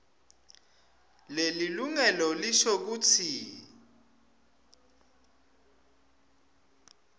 lelilungelo lisho kutsi